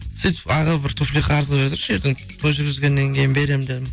сөйтіп аға бір туфли қарызға бере тұршы ертең той жүргізгеннен кейін беремін дедім